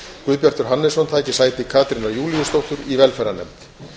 guðbjartur hannesson taki sæti katrínar júlíusdóttur í velferðarnefnd